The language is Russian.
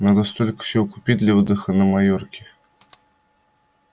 надо столько всего купить для отдыха на майорке